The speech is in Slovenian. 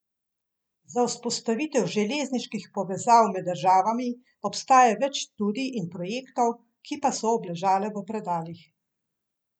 Za vzpostavitev železniških povezav med država obstaja več študij in projektov, ki pa so obležale v predalih.